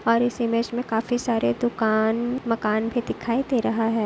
और इस इमेज काफी सारे दुकान मकान भी दिखाई दे रहा हैं।